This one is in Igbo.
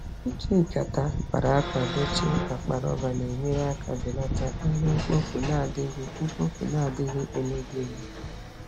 Iji nkata a kpara akpa dochie akpa rọba na-enyere aka belata ihe mkpofu na-adịghị mkpofu na-adịghị emebi emebi.